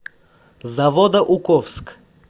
заводоуковск